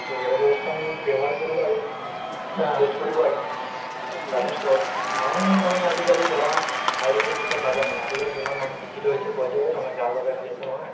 to এইবোৰ বস্তু আমি ব্যৱহাৰ কৰিব লাগে use কৰিব লাগে তাৰপিছত মানুহ মানে আজিকালি ধৰা আয়ুৰ্বেদিক দিশত নাযায় মানে আজিকালি যিমান মানুহ শিক্ষিত হৈছে কই যে এই নহয় একো নহয় )‌)